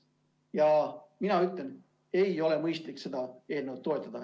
Ja mina ütlen, et ei ole mõistlik seda eelnõu toetada.